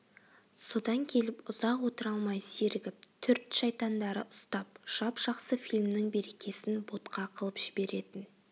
содан келіп ұзақ отыра алмай зерігіп түрт шайтандары ұстап жап-жақсы фильмнің берекесін ботқа қылып жіберетін